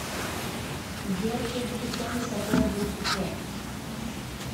сбер следующий вторник какое будет число